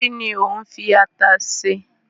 Kíni o n fi ata se